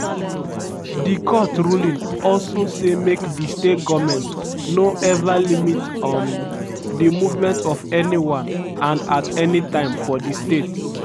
di court ruling also say make di state goment no eva limit um di movement of anyone and at anytime for di state.